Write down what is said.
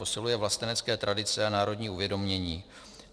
Posiluje vlastenecké tradice a národní uvědomění.